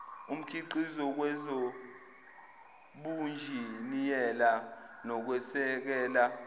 omkhiqizo kwezobunjiniyela nokwesekela